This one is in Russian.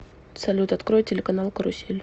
салют открой телеканал карусель